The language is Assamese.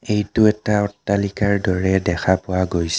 এইটো এটা অট্টালিকাৰ দৰে দেখা পোৱা গৈছে.